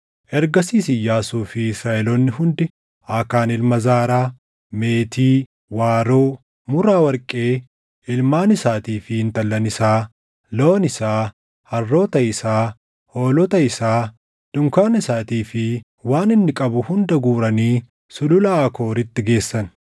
Ergasiis Iyyaasuu fi Israaʼeloonni hundi Aakaan ilma Zaaraa, meetii, waaroo, muraa warqee, ilmaan isaatii fi intallan isaa, loon isaa, harroota isaa, hoolota isaa, dunkaana isaatii fi waan inni qabu hunda guuranii Sulula Aakooritti geessan.